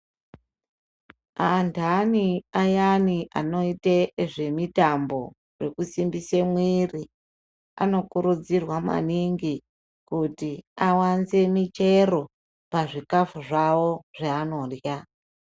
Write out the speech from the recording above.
Andani ayani anoite zvemutambo nekusimbisa muviri anokuridzirwa maningi kuti awanze muchero pazvii kafu zvavo zvavanorya.